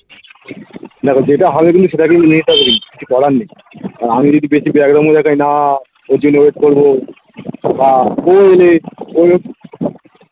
দেখো যেটা হবে কিন্তু সেটাকেই মেনে নিতে হবে কিন্তু কিছু করার নেই আর আমি যদি বেশি দেখাই না ওর জন্যে wait করবো বা ও হলে ও